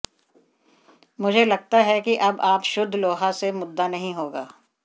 मुझे लगता है कि अब आप शुद्ध लोहा से मुद्दा नहीं होगा